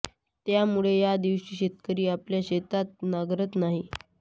त्यामुळे या दिवशी शेतकरी आपल्या शेतात नांगरत नाही